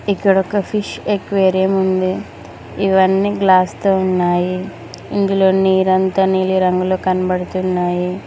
ఇక్కడ ఒక fish aquarium ఉంది ఇవన్నీ గ్లాస్ తో ఉన్నాయి ఇందులో నీరంత నీలి రంగులో కనబడుతున్నాయి.